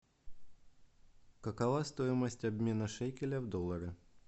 какова стоимость обмена шекеля в доллары